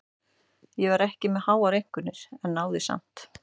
Ég var ekki með háar einkunnir en náði samt.